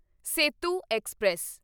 Setu express